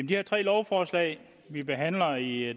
de her tre lovforslag vi behandler i